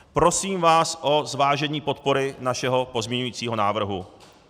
Prosím vás o zvážení podpory našeho pozměňujícího návrhu.